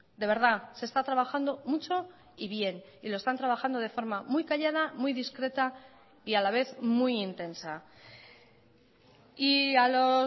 de verdad se está trabajando mucho y bien y lo están trabajando de forma muy callada muy discreta y a la vez muy intensa y a los